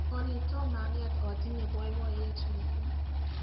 olly tom ang'et otinye boiboiyet missing